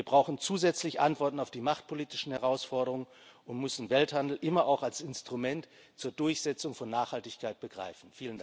Wir brauchen zusätzlich Antworten auf die machtpolitischen Herausforderungen und müssen Welthandel immer auch als Instrument zur Durchsetzung von Nachhaltigkeit begreifen.